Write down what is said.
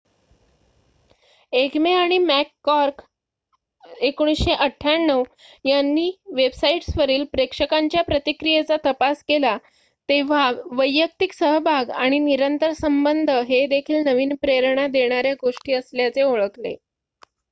"एग्मे आणि मॅककॉर्ड 1998 यांनी वेबसाईट्सवरील प्रेक्षकांच्या प्रतिक्रियेचा तपास केला तेव्हा "वैयक्तिक सहभाग" आणि "निरंतर संबंध" हे देखील नवीन प्रेरणा देणाऱ्या गोष्टी असल्याचे ओळखले.